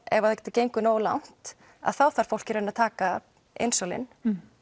ef þetta gengur nógu langt að þá þarf fólk í rauninni að taka insúlín